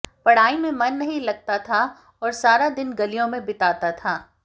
पढ़ाई में मन नहीं लगता था और सारा दिन गलियों में बिताता था